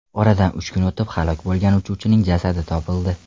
Oradan uch kun o‘tib halok bo‘lgan uchuvchining jasadi topildi.